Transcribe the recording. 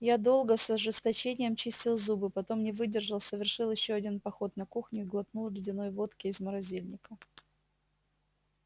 я долго с ожесточением чистил зубы потом не выдержал совершил ещё один поход на кухню и глотнул ледяной водки из морозильника